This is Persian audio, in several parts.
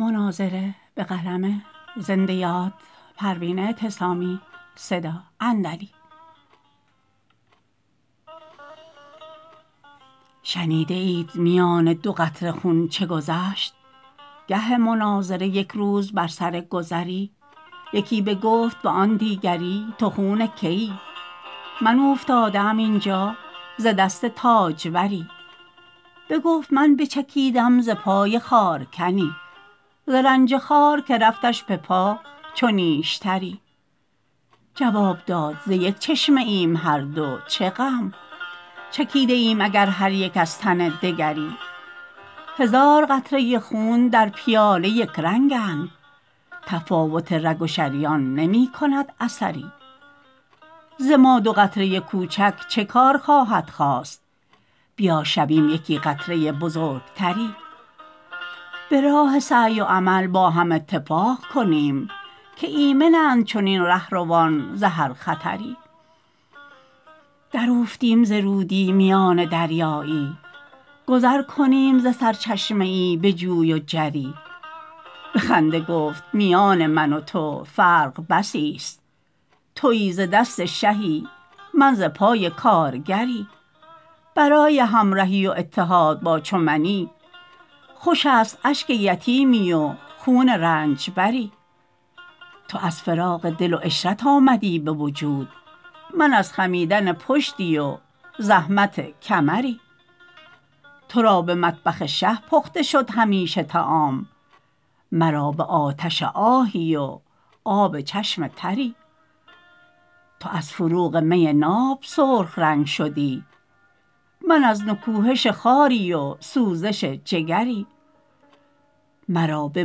شنیده اید میان دو قطره خون چه گذشت گه مناظره یک روز بر سر گذری یکی بگفت به آن دیگری تو خون که ای من اوفتاده ام اینجا ز دست تاجوری بگفت من بچکیدم ز پای خارکنی ز رنج خار که رفتش بپا چو نیشتری جواب داد ز یک چشمه ایم هر دو چه غم چکیده ایم اگر هر یک از تن دگری هزار قطره خون در پیاله یکرنگند تفاوت رگ و شریان نمیکند اثری ز ما دو قطره کوچک چه کار خواهد خاست بیا شویم یکی قطره بزرگتری براه سعی و عمل با هم اتفاق کنیم که ایمنند چنین رهروان ز هر خطری در اوفتیم ز رودی میان دریایی گذر کنیم ز سرچشمه ای بجوی و جری بخنده گفت میان من و تو فرق بسی است تویی ز دست شهی من ز پای کارگری برای همرهی و اتحاد با چو منی خوش است اشک یتیمی و خون رنجبری تو از فراغ دل و عشرت آمدی بوجود من از خمیدن پشتی و زحمت کمری ترا به مطبخ شه پخته شد همیشه طعام مرا به آتش آهی و آب چشم تری تو از فروغ می ناب سرخ رنگ شدی من از نکوهش خاری و سوزش جگری مرا به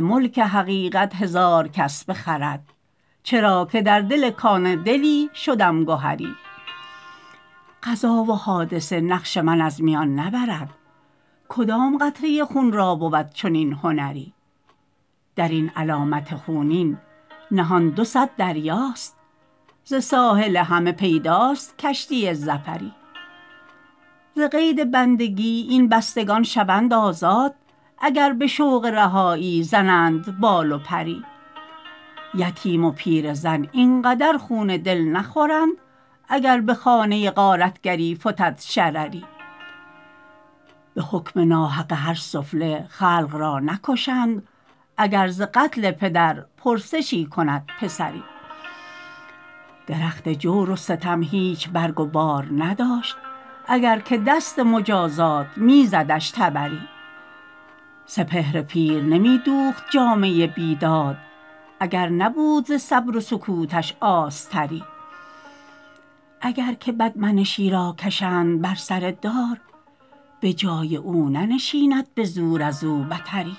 ملک حقیقت هزار کس بخرد چرا که در دل کان دلی شدم گهری قضا و حادثه نقش من از میان نبرد کدام قطره خون را بود چنین هنری درین علامت خونین نهان دو صد دریاست ز ساحل همه پیداست کشتی ظفری ز قید بندگی این بستگان شوند آزاد اگر بشوق رهایی زنند بال و پری یتیم و پیره زن اینقدر خون دل نخورند اگر بخانه غارتگری فتد شرری بحکم نا حق هر سفله خلق را نکشند اگر ز قتل پدر پرسشی کند پسری درخت جور و ستم هیچ برگ و بار نداشت اگر که دست مجازات میزدش تبری سپهر پیر نمیدوخت جامه بیداد اگر نبود ز صبر و سکوتش آستری اگر که بدمنشی را کشند بر سر دار بجای او ننشیند بزور ازو بتری